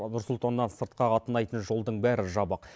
нұр сұлтаннан сыртқа қатынайтын жолдың бәрі жабық